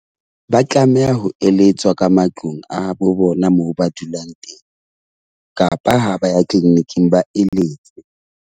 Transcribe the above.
Ba tlameha ho eletswa ka matlung a bo bona moo ba dulang teng kapa ha ba ya clinic-ing ba eletse.